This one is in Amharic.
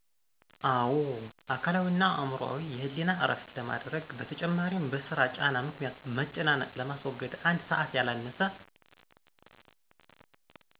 አወ። አካላዊ እና አዕምሮአዊ የህሌና እረፍት ለማድረግ በተጨማሪም በስራ ጫና ምክኒያት መጨናነቅ ለማስወገድ አንድ ሰዐት ያላነሰ